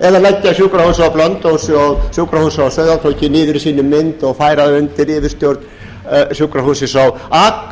á blönduósi og sjúkrahúsið á sauðárkróki niður í sinni mynd og færa þau undir yfirstjórn sjúkrahússins á